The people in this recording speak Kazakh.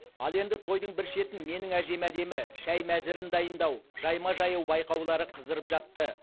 ал енді тойдың бір шетін менің әжем әдемі шай мәзірін дайындау жайма жаю байқаулары қыздырып жатты